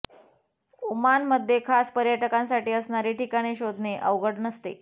ओमानमधे खास पर्यटकांसाठी असणारी ठिकाणे शोधणे अवघड नसते